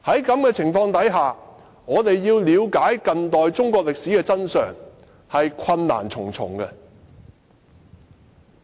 在此情況下，我們要了解近代中國歷史的真相，實在困難重重。